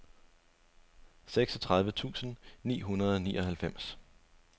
seksogtredive tusind ni hundrede og nioghalvfems